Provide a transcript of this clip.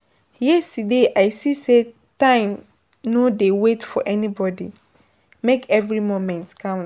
Yesterday I see say time no dey wait for anybody, make every moment count.